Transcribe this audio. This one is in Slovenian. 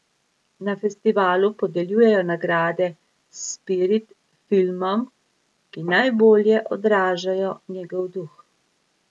Na festivalu podeljujejo nagrade spirit filmom, ki najbolje odražajo njegov duh.